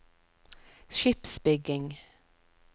skipsbygging